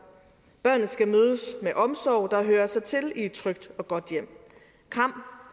børnene skal mødes med den omsorg der hører sig til i et trygt og godt hjem